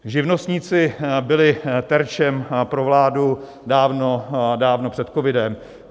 Živnostníci byli terčem pro vládu dávno před covidem.